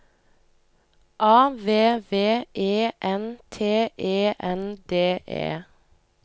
A V V E N T E N D E